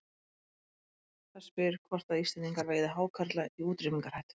Það spyr hvort að Íslendingar veiði hákarla í útrýmingarhættu.